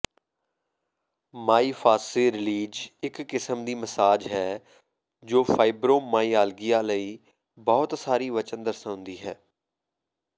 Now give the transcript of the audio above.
ਮਾਈਫਾਸਸੀ release ਇੱਕ ਕਿਸਮ ਦੀ ਮਸਾਜ ਹੈ ਜੋ ਫਾਈਬਰੋਮਾਈਆਲਗੀਆ ਲਈ ਬਹੁਤ ਸਾਰੀ ਵਚਨ ਦਰਸਾਉਂਦੀ ਹੈ